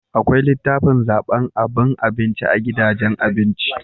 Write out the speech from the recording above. Akwai litafin zaban aban abinci a gidajen abinci